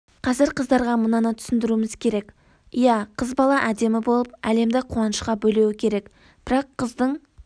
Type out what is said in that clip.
қазір қыздарға мынаны түсіндіруіміз керек иә қыз бала әдемі болып әлемді қуанышқа бөлеуі керек бірақ қыздың